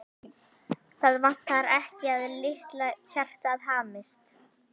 Það vantar ekki að litla hjartað hamist.